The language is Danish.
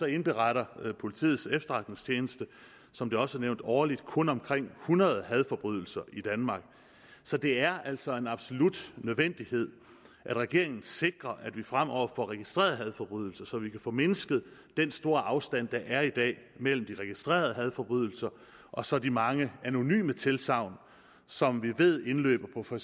indberetter politiets efterretningstjeneste som det også er nævnt årligt kun omkring hundrede hadforbrydelser i danmark så det er altså en absolut nødvendighed at regeringen sikrer at vi fremover får registreret hadforbrydelser så vi kan få mindsket den store afstand der er i dag mellem de registrerede hadforbrydelser og så de mange anonyme tilsagn som vi ved indløber på for